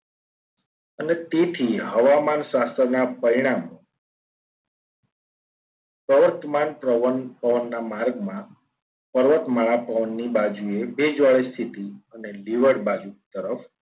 અને તેથી હવામાન શાસકના પરિણામો વર્તમાન પવનના માર્ગમાં પર્વતમાળા પવનની બાજુએ ભેજવાળી સ્થિતિ અને બાજુ તરફ